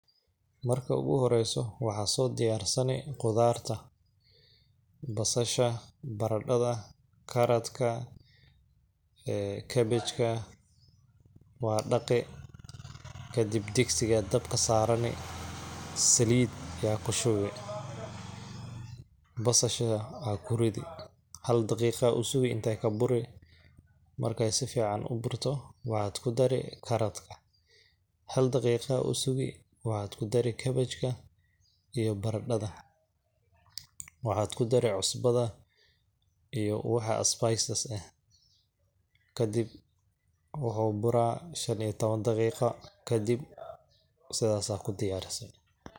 Marka ugu horeeyso waxaa soo diyaarsani qudaarta ,basasha ,baradhada, karatka, cabbage ka waa dhaqi, kadib digsigaa dabka saarani, saliid ayaa ku shubi ,basasha aa ku ridi ,hal daqiiqaa u sugi inteey ka buri ,markeey sifiican u burto waxaa ku dari karatka hal daqiiqaad u sugi waxaad ku dari cabbage ka iyo baradhada ,waxaad ku dari cusbada iyo waxa spices ka kadib ,waxuu buraa shan iyo tawan daqiiqa kadib ,sidaas aaa ku diyaarsi.